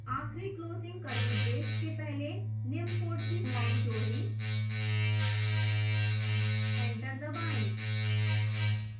आखिरी closing curly brace के पहले निम्न code की line जोड़ें एंटर दबाएं